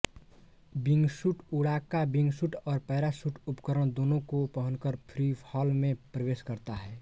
wingsuit उड़ाका wingsuit और parachute उपकरण दोनों को पहनकर फ्रीफॉल में प्रवेश करता है